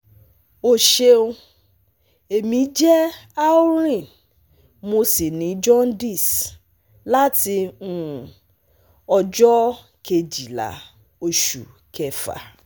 O ṣeun, emi je Aureen mo si ni jaundice lati um ọjọ kejila osu kefa